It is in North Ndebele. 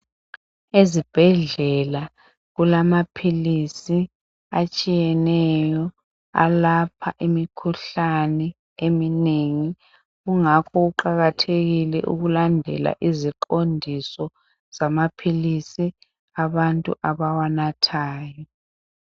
Ezibhedlela kulamaphilisi atshiyeneyo alapha imikhuhlane eminengi kungakho kuqakathekile ukulandela iziqondiso zamaphilisi abantu abawanathayo